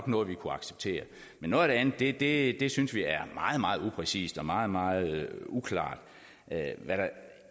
noget vi kunne acceptere men noget af det det andet synes vi er meget meget upræcist og meget meget uklart hvad der